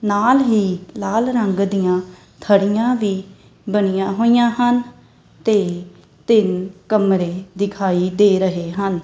ਨਾਲ ਹੀ ਲਾਲ ਰੰਗ ਦੀਆਂ ਥੜੀਆਂ ਵੀ ਬਣੀਆਂ ਹੋਈਆਂ ਹਨ ਤੇ ਤਿੰਨ ਕਮਰੇ ਦਿਖਾਈ ਦੇ ਰਹੇ ਹਨ।